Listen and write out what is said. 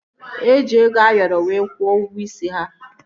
Eji ego Ayoro wee kwuo ụgwọ isi ya